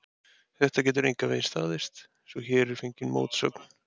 Þetta getur engan veginn staðist, svo hér er fengin mótsögn.